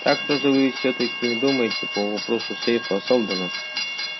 так что же вы всё-таки думаете по вопросу сейфа сэлдона